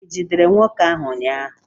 I jidere nwoke ahụ ụnyahụ?